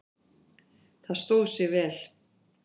Það stóð sig vel.